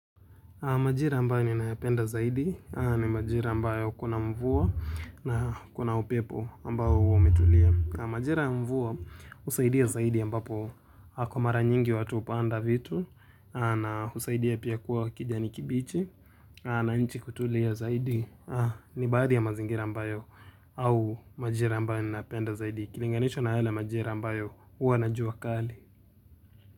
Majira ambayo ni nayapenda zaidi ni majira ambayo kuna mvua na kuna upepo ambayo huwa umetulia. Majira ya mvua usaidia zaidi ambapo hako mara nyingi watu upanda vitu na usaidia pia kuwa kijani kibichi na nchi kutulia zaidi ni baadhi ya mazingira ambayo au majira ambayo ni nayapenda zaidi. Kilinganishwa na yale majira ambayo huwa na jua kali.